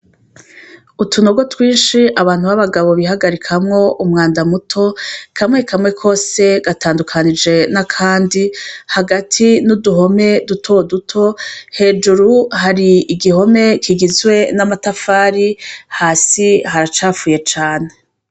Utunogo twishi abantu ba bagabo bihagarikamwo umwanda muto kamwe kamwe kose gatandukanije n'akandi hagati n'uduhome dutoduto hejuru hari igihome kigizwe n'amatafari hasi haracafuye cane.